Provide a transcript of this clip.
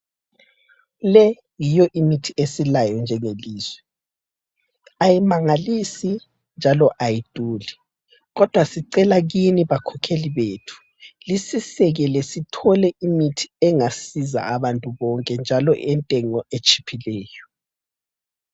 Le yiyo imithi esilayo njengelizwe, ayimangalisa njalo ayiduli. Kodwa sicela kini bakhokheli bethu, lisisekele sithole imithi engasiza abantu bonke njalo entengo etshiphileyo.